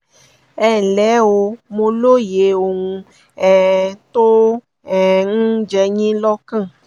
ẹnlẹ́ o mo lóye ohun um tó um ń jẹ yín lọ́kàn